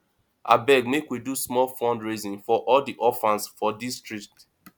abeg make we do small fundraising for all di orphans for dis street